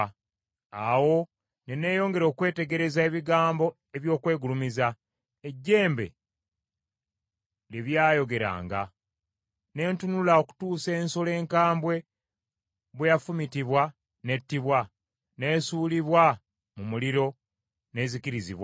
“Awo ne neyongera okwetegereza ebigambo eby’okwegulumiza, ejjembe lye byayogeranga. Ne ntunula okutuusa ensolo enkambwe bwe yafumitibwa n’ettibwa, n’esuulibwa mu muliro, n’ezikirizibwa.